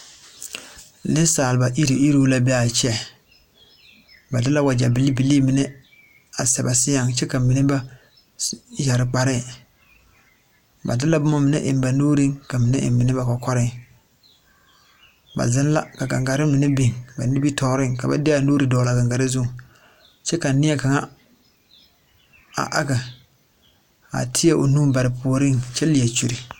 Neŋsalba iruŋ iruŋ la be aa kyɛ ba de la wagyɛ bilii bilii mine a sɛ ba seɛŋ kyɛ ka mine yɛre kparɛɛ ba de la bomma mine eŋ ba nuuriŋ ka ba mine eŋ mine ba kɔkɔreŋ ba zeŋ la ka gangarre mine biŋ ba nimitooreŋ ka ba de ba nuure a pare a gangarre zuŋ kyɛ ka nie kaŋa a age a teɛ o nu bare o puoriŋ kyɛ lie kyure